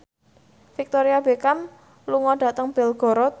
Victoria Beckham lunga dhateng Belgorod